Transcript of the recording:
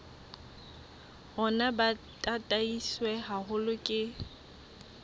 rona bo tataiswe haholo ke